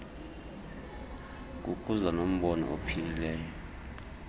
kukuza nombono ophilileyo